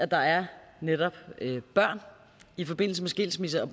der netop er børn i forbindelse med skilsmisser